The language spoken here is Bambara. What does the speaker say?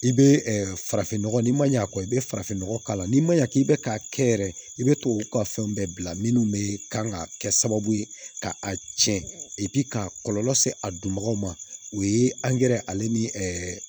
I bɛ farafinnɔgɔ ni ma ɲɛ a kɔ i bɛ farafinnɔgɔ k'a la n'i ma ɲa k'i bɛ k'a kɛ yɛrɛ i bɛ tubabuw ka fɛnw bɛɛ bila minnu bɛ kan ka kɛ sababu ye ka a tiɲɛ k'a kɔlɔlɔ se a dunbaga ma o ye ale ni ɛɛ